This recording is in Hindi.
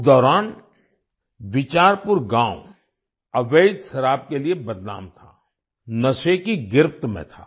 उस दौरान बिचारपुर गांव अवैध शराब के लिए बदनाम था नशे की गिरफ्त में था